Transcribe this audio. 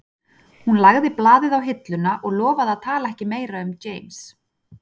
Hún lagði blaðið á hilluna og lofaði að tala ekki meira um James